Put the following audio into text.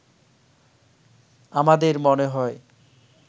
আমাদের মনে হয়